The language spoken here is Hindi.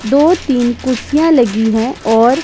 दो तीन कुर्सियां लगी है और--